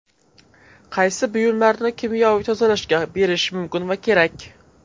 Qaysi buyumlarni kimyoviy tozalashga berish mumkin va kerak?.